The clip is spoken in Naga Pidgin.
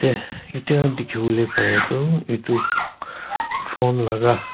Teh Etya dekhivo le parey toh etu phone laga--